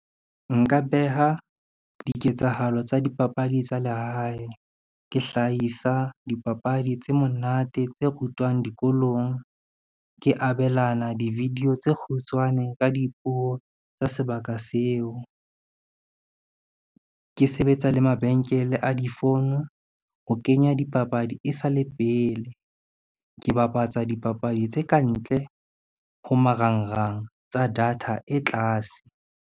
Nka beha diketsahalo tsa dipapadi tsa lehae, ke hlahisa dipapadi tse monate tse rutwang dikolong. Ke abelana di-video tse kgutshwane ka dipuo tsa sebaka seo. Ke sebetsa le mabenkele a difono, ho kenya dipapadi e sale pele, ke bapatsa dipapadi tse kantle ho marangrang tsa data e tlase.